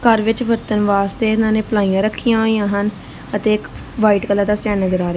ਘਰ ਵਿੱਚ ਵਰਤਣ ਵਾਸਤੇ ਇਹਨਾਂ ਪਲਾਈਆਂ ਰੱਖੀਆਂ ਹੋਈਆਂ ਹਨ ਅਤੇ ਇੱਕ ਵਾਈਟ ਕਲਰ ਦਾ ਸਟੈਂਡ ਨਜ਼ਰ ਆ ਰਿ--